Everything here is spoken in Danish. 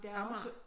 Amager